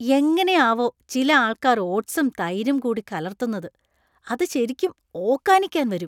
എങ്ങനെയാവോ ചില ആൾക്കാർ ഓട്സും , തൈരും കൂടി കലർത്തുന്നത്? അത് ശെരിക്കും ഓക്കാനിക്കാൻ വരും .